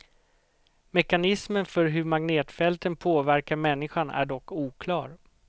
Mekanismen för hur magnetfälten påverkar människan är dock oklar.